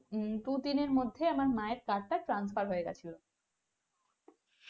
দুদিন আর মধ্যে মায়ের card টা transfer হয়ে গেছিলো